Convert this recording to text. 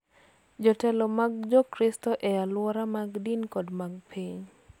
Jotelo ma Jokristo e alwora mag din kod mag piny